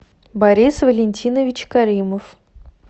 борис валентинович каримов